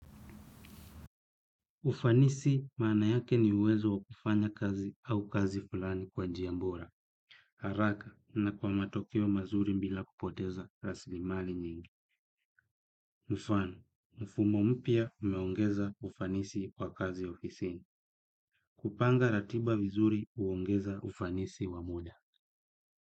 Ufanisi maana yake ni uwezo wa kufanya kazi au kazi fulani kwa njia bora. Haraka na kwa matokeo mazuri mbila kupoteza raslimali nyingi. Mfano, mfumo mpya umeongeza ufanisi kwa kazi ofisini. Kupanga ratiba vizuri huongeza ufanisi wa muda.